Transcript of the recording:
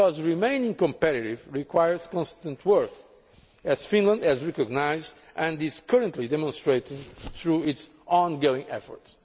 Remaining competitive requires constant work, as Finland has recognised and is currently demonstrating through its ongoing efforts.